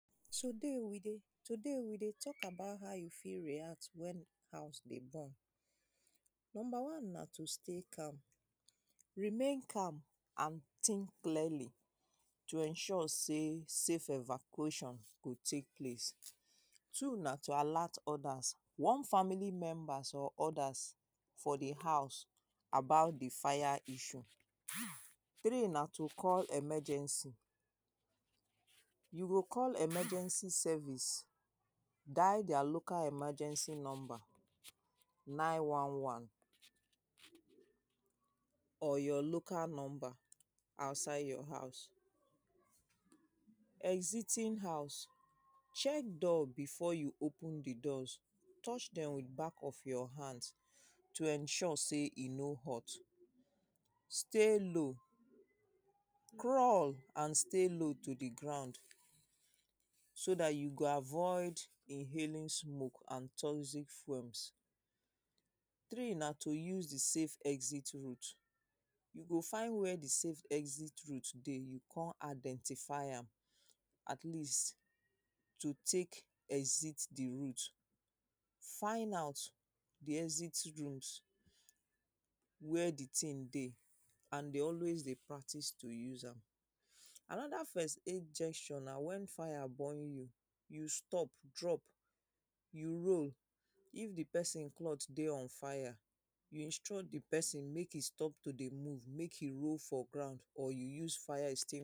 Today we dey, today we dey talk about how you fit react when house dey burn. Number one na to stay calm. Remain calm and think clearly to ensure sey safe evacuation go take place. Two na to alert others. One family member or others for the house about the fire issue. Three na to call emergency. You go call emergency service. Dial their local emergency number. 911 or your local number outside your house. Exiting house. Check door before you open the doors. Touch dem with back of your hand to ensure sey e no hot. Stay low. Crawl and stay low to the ground so dat you go avoid inhaling smoke and toxic flames. Three na to use the safe exit route. You go find where the safe exit route dey. You go con identify am. Atleast to take exit the route. Find out the exit route. Where the thing dey and dey always dey practice to use am. Another first aid gesture na when fire burn you. You stop drop. You roll if the person cloth dey on fire. You instruct the person make e stop to dey move. Make e roll for ground or you use fire or you use fire extinguisher.